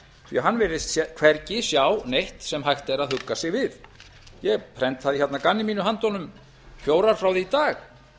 því að hann virðist hvergi sjá neitt sem hægt er að hugga sig við ég prentaði hérna að gamni mínu handa honum fjórar frá því í dag